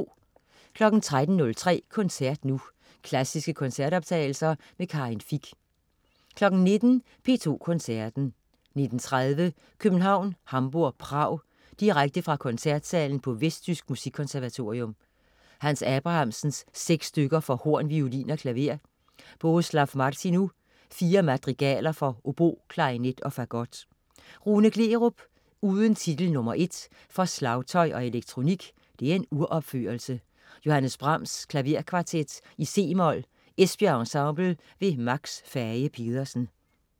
13.03 Koncert nu. Klassiske koncertoptagelser. Karin Fich 19.00 P2 Koncerten. 19.30 København-Hamburg-Prag. Direkte fra koncertsalen på Vestjysk Musikkonservatorium. Hans Abrahamsen: Seks stykker for horn, violin og klaver. Bohuslav Martinu: Fire Madrigaler for obo, klarinet og fagot. Rune Gleerup: Uden titel no. 1 for slagtøj og elektronik (uropførelse). Johannes Brahms: Klaverkvartet, c-mol, Esbjerg Ensemble. Max Fage-Pedersen